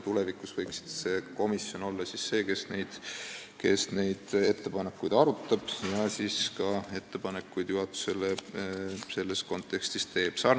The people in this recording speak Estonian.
Tulevikus võiks see komisjon olla see, kes neid ettepanekuid arutab ja siis ka juhatusele selles kontekstis ettepanekuid teeb.